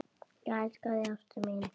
Ég elska þig, ástin mín.